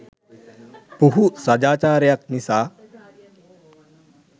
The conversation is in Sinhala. පුහු සදාචාරයක් නිසා